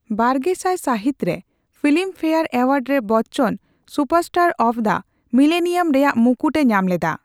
ᱵᱟᱨᱜᱮᱥᱟᱭ ᱥᱟᱹᱦᱤᱛ ᱨᱮ ᱯᱷᱤᱞᱤᱢ ᱯᱷᱮᱭᱟᱨ ᱮᱣᱟᱨᱰ ᱨᱮ Bachchan superstar of the millennium ᱨᱮᱭᱟᱜ ᱢᱩᱠᱩᱴᱮ ᱧᱟᱢ ᱞᱮᱫᱟ ᱾